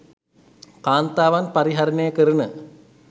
කාන්තාවන් පරිහරණය කරන